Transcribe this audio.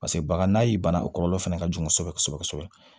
Paseke bagan n'a ye bana o kɔlɔlɔ fɛnɛ ka jugu kosɛbɛ kosɛbɛ